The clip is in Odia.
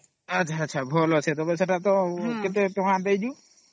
ଆଛା ଭଲ ଅଛେ ସେତ କେତେ ଟଙ୍କା ଦେବାର କି ?